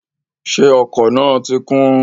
Ṣé ọkọ̀ náà ti kún?